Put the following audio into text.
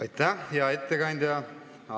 Aitäh, hea ettekandja!